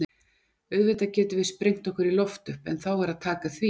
Auðvitað getum við sprengt okkur í loft upp, en þá er að taka því.